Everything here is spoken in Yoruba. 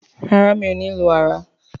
ràrá mio ní lù ara.